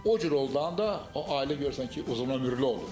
O cür olanda da o ailə görürsən ki, uzunömürlü olur.